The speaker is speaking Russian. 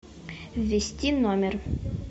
ввести номер